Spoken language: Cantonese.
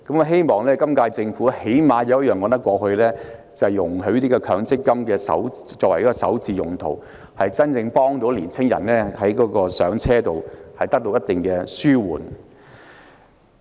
希望今屆政府能有一項措施是可以說得過去的，就是容許以強積金滾存作為首置之用，真正紓緩年青人在"上車"方面的困難。